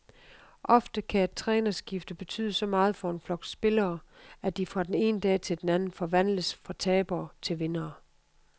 Ofte kan et trænerskifte betyde så meget for en flok spillere, at de fra den ene dag til den anden forvandles fra tabere til vindere.